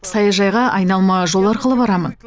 саяжайға айналма жол арқылы барамын